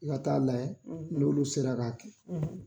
I ka taa layɛ n'olu sera k'a kɛ